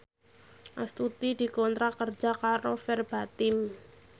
Astuti dikontrak kerja karo Verbatim